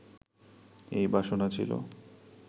এই বাসনা ছিল